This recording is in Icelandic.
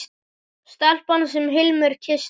Stelpan sem Hilmar kyssti.